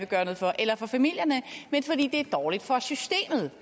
gøre noget for eller for familierne men fordi det er dårligt for systemet